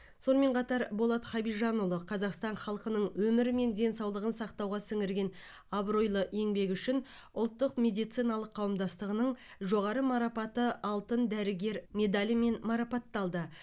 сонымен қатар болат хабижанұлы қазақстан халқының өмірі мен денсаулығын сақтауға сіңірген абыройлы еңбегі үшін ұлттық медициналық қауымдастығының жоғары марапаты алтын дәрігер медалімен марапатталды